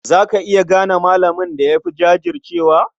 Za ka iya gane malamin da ya fi jajircewa?